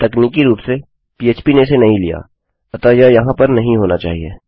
अब तकनीकी रूप से phpपीएचपी ने इसे नहीं लियाअतः यह यहाँ पर नहीं होना चाहिए